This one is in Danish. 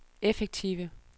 effektive